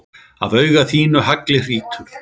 Af auga þínu haglið hrýtur.